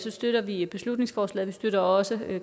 støtter vi beslutningsforslaget vi støtter også